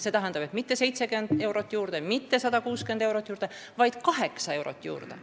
See tähendanuks mitte 70 eurot juurde, mitte 160 eurot juurde, vaid 8 eurot juurde.